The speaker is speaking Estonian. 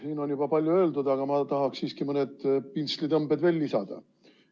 Siin on juba palju öeldud, aga ma tahaksin siiski mõned pintslitõmbed veel lisada.